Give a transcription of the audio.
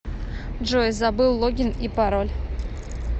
джой забыл логин и пароль